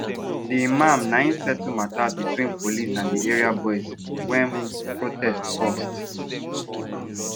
the imam nai settle matter between police and the area boys when protest burst